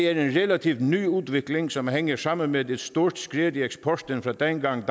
relativt ny udvikling som hænger sammen med et stort skred i eksporten fra dengang